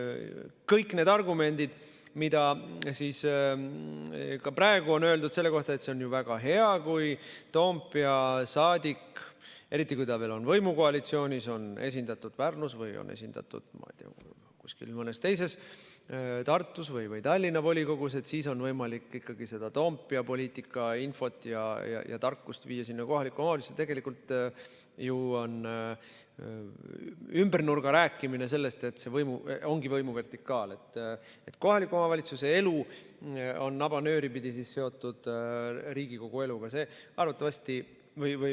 Kõik need argumendid, mida ka praegu on öeldud selle kohta, et see on väga hea, kui Toompea saadik, eriti kui ta on võimukoalitsioonis, on esindatud Pärnus või mõnes teises, Tartu või Tallinna volikogus, et siis on võimalik ikkagi seda Toompea poliitika infot ja tarkust viia kohalikesse omavalitsustesse, on tegelikult ju ümbernurga sellest rääkimine, et see ongi võimuvertikaal, et kohaliku omavalitsuse elu on nabanööri pidi seotud Riigikogu eluga.